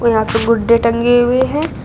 और यहां पे गुड्डे टंगे हुए है।